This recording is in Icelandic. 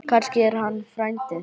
Kannski er hann frændi þinn.